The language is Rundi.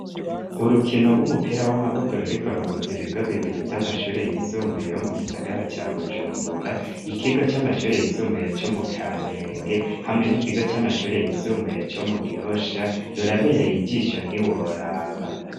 urukino rw'umupira w'amaboko ruriko ruhuzi ibigo bibiri vy'amashure y'isumbuye ho mu gisagara ca bujumbura ikigo c'amashure yisumbuye co mu kamenge hamwe n'ikigo c'amashure yisumbuye co mu gihosha rurabereye igisho ntiworaba